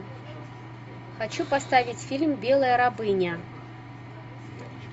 хочу поставить фильм белая рабыня